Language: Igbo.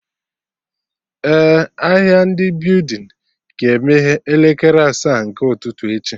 Eh, ahịa ndị building ga-emeye n'elekere asaa nke ụtụtụ echi